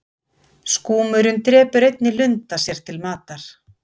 skúmurinn drepur einnig lunda sér til matar